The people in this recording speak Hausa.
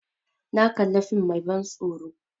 Na kali fim mai ban tsoro